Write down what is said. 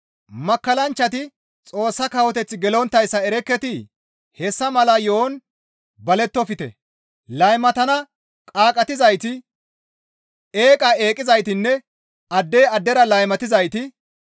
Makkallanchchati Xoossa kawoteth gelonttayssa erekketii? Hessa mala yo7on balettofte. Laymatana qaaqqatizayti, eeqa eqqizaytinne addey addera laymatizayti,